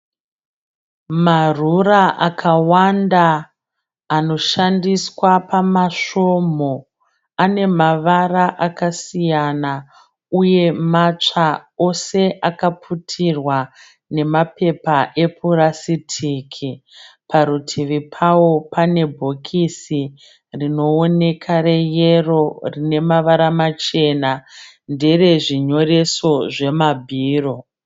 Marura akawanda anoshandiswa pamasvomhu. Ane mavara akasiyana uye matsva. Ose akaputirwa namapepa epuratistiki. Parutivi pawo pane bhokisi rinooneka reyero rine mavara machena. Ndere zvinyoreso zvemabhiro.